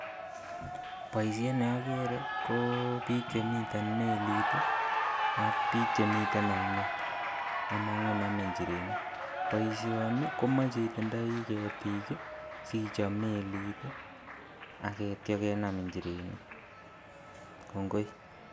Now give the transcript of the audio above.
Boisiet ne agere ko biik chemite melit ii ak biik chemiten ainet, amang'u name njerenik. Boisioni komache itindei ketik ii sichop melit ii agitio kenam njerenik. Kongoi.